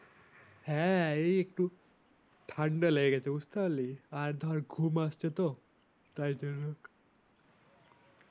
হ্যাঁ এই একটু ঠান্ডা লেগেছে বুঝতে পারলি আর ধর ঘুম আসছে তো তাই তো এরকম